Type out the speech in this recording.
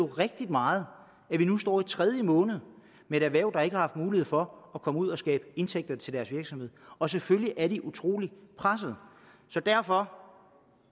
rigtig meget at vi nu står i tredje måned med et erhverv der ikke har haft mulighed for at komme ud og skabe indtægter til deres virksomhed og selvfølgelig er de utrolig pressede så derfor